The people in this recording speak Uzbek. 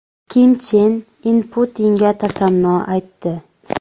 Kim Chen In Putinga tasanno aytdi.